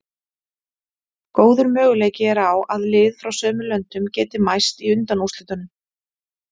Góður möguleiki er á að lið frá sömu löndum geti mæst í undanúrslitunum.